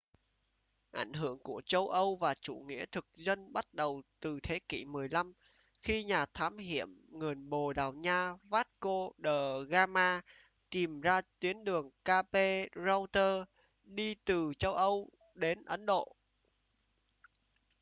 ảnh hưởng của châu âu và chủ nghĩa thực dân bắt đầu từ thế kỷ 15 khi nhà thám hiểm người bồ đào nha vasco de gama tìm ra tuyến đường cape route đi từ châu âu đến ấn độ